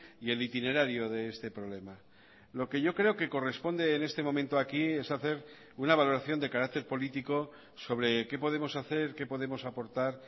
y el itinerario de este problema lo que yo creo que corresponde en este momento aquí es hacer una valoración de carácter político sobre qué podemos hacer qué podemos aportar